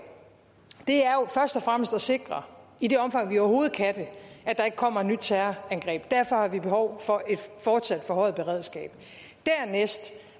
er jo først og fremmest at sikre i det omfang vi overhovedet kan det at der ikke kommer et nyt terrorangreb derfor har vi behov for et fortsat forhøjet beredskab